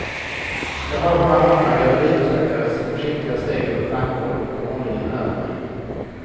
Jag hör bara andra galleribesökares försiktiga steg över plankgolvet på våningen över mig.